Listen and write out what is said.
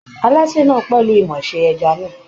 Alásè náà pẹ̀lú ìmọ̀ ṣe ẹja náà